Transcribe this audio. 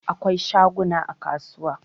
Akwai shaguna a kasuwa